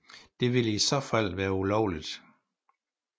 Det ville i så fald være ulovligt